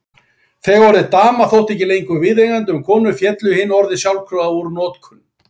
Þegar orðið dama þótti ekki lengur viðeigandi um konur féllu hin orðin sjálfkrafa úr notkun.